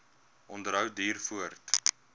onderhou duur voort